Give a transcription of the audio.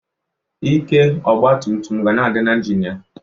Ike ọgbatumtum ga na-adị n'injini ya.